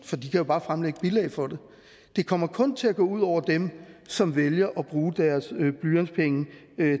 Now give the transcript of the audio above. for de kan jo bare fremlægge bilag for det det kommer kun til at gå ud over dem som vælger at bruge deres blyantspenge